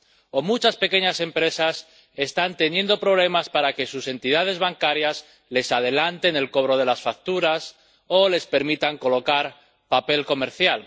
O muchas pequeñas empresas están teniendo problemas para que sus entidades bancarias les adelanten el cobro de las facturas o les permitan colocar papel comercial.